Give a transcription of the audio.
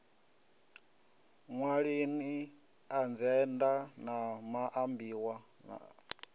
ṅwalani adzhenda na maambiwa a